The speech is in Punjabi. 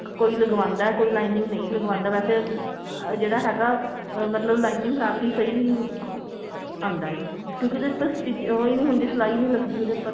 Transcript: ਕੋਈ ਲਗਵਾਉਂਦਾ ਕੋਈ lining ਨਹੀਂ ਲਗਵਾਉਂਦਾ ਅਹ ਜਿਹੜਾ ਹੈਗਾ ਅਹ ਮਤਲਬ lining ਲਾਕੇ ਸਹੀ ਆਂਦਾ ਹੈ ਕਿਉਂਕਿ ਉਹਦੇ ਉੱਪਰ stitching ਉਹ ਹੀ ਨਹੀਂ ਹੁੰਦਾ ਸਿਲਾਈ ਹੀ ਨਹੀਂ ਲਗਦੀ